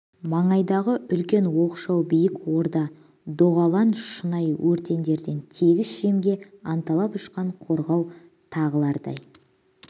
маңайдағы үлкен оқшау биік орда доғалан шұнай өртендерден тегіс жемге анталап ұшқан қорғау тағылардай